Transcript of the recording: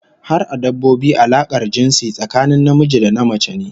Har a dabbobi alakar jinsi tsakanin namiji da namace ne